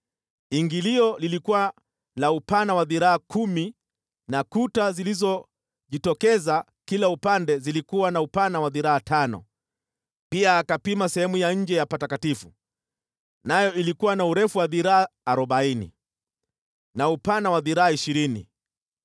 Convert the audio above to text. Ingilio lilikuwa la upana wa dhiraa kumi na kuta zilizojitokeza kila upande zilikuwa na upana wa dhiraa tano. Pia akapima sehemu ya nje ya patakatifu, nayo ilikuwa na urefu wa dhiraa arobaini na upana wa dhiraa ishirini.